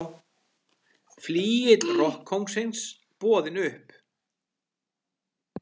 Flygill rokkkóngsins boðinn upp